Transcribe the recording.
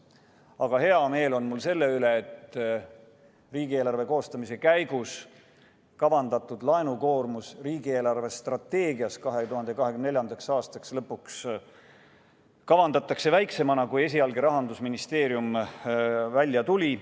Aga hea meel on mul selle üle, et riigieelarve koostamise käigus kavandatud laenukoormus riigi eelarvestrateegias 2024. aastaks lõpuks kavandatakse väiksemana kui esialgne, millega Rahandusministeerium välja tuli.